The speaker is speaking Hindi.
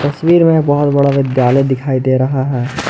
तस्वीर मे बहोत बड़ा विद्यालय दिखाई दे रहा है।